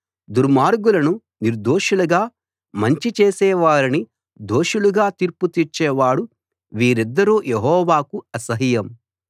దుర్మార్గులను నిర్దోషులుగా మంచి చేసే వారిని దోషులుగా తీర్పు తీర్చేవాడు వీరిద్దరూ యెహోవాకు అసహ్యం